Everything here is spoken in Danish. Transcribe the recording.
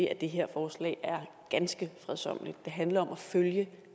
at det her forslag er ganske fredsommeligt det handler om at følge